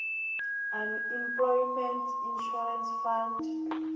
unemployment insurance fund